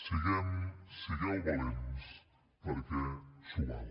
siguem sigueu valents perquè s’ho val